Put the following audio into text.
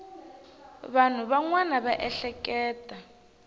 vanhu van wana va ehleketa